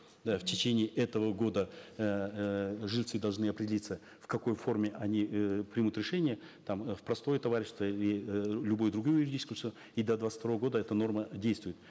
да в течение этого года эээ жильцы должны определиться в какой форме они э примут решение там в простое товарищество или э любое другое юридическое лицо и до двадцать второго года эта норма действует